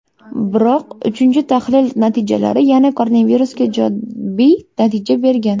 Biroq uchinchi tahlil natijalari yana koronavirusga ijobiy natija bergan.